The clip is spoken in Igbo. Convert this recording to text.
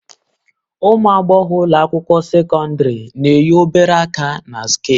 Ụmụ agbọghọ ụlọ akwụkwọ sekọndrị na-eyi obere aka na sket